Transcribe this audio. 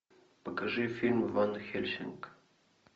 покажи фильм ванхельсинг